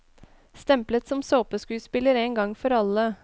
Stemplet som såpeskuespiller en gang for alle.